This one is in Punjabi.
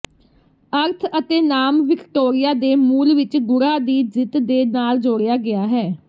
ਅਰਥ ਅਤੇ ਨਾਮ ਵਿਕਟੋਰੀਆ ਦੇ ਮੂਲ ਵਿਚ ਗੂੜ੍ਹਾ ਦੀ ਜਿੱਤ ਦੇ ਨਾਲ ਜੋੜਿਆ ਗਿਆ ਹੈ